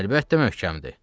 Əlbəttə möhkəmdir.